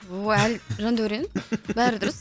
жандәурен бәрі дұрыс